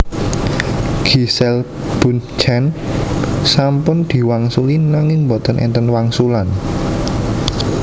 Giselle Bundchen sampun diwangsuli nanging mboten enten wangsulan